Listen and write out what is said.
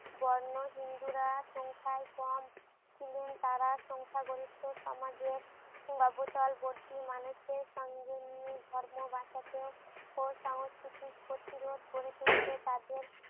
বর্ণ হিন্দুরা সংখ্যাই কম ছিলেন তারা সংখ্যা গরিষ্ঠ সমাজের অবতল বর্তী মানুষদের সঙ্গে নিয়ে ধর্ম বাঁচাতে ও সংস্কৃতির প্রতিরোধ গড়ে তুলতে তাদের